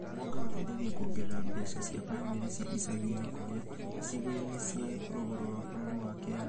Mwanga ũteithagia kuongerera mbeca cia bamĩrĩ cia icagi-inĩ kũrĩa icigo-inĩ cia rũgũrũ rũa bũrũri wa Kenya